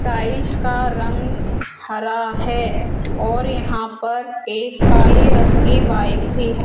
Tiles का रंग हरा है और यहां पर एक काले रंग की बाइक भी है।